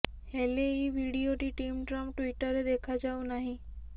ହେଲେ ଏହି ଭିଡିଓଟି ଟିମ୍ ଟ୍ରମ୍ପ ଟ୍ୱିଟରରେ ଦେଖାଯାଉ ନାହିଁ